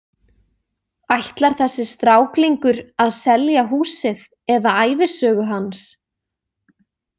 Ætlar þessi stráklingur að selja húsið eða ævisögu hans?